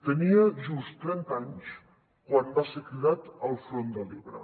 tenia just trenta anys quan va ser cridat al front de l’ebre